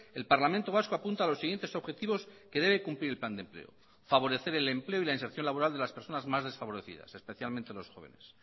el parlamento vasco apunta los siguientes objetivos que debe cumplir el plan de empleo favorecer el empleo y la inserción laboral de las personas más desfavorecidas especialmente los jóvenes